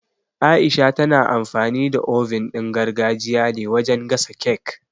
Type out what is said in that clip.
Aisha tana amfani da oven ɗin gargajiya ne wajen gasa cake